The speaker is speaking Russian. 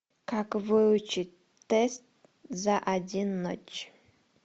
как выучить тест за один ночь